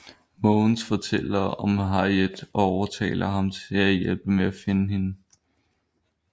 Måvens fortæller om Harriet og overtaler ham til at hjælpe med at finde hende